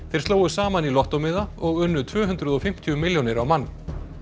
þeir slógu saman í lottómiða og unnu tvö hundruð og fimmtíu milljónir á mann